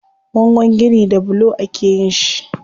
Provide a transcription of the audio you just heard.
Bangon gini da bulo akeyin shi.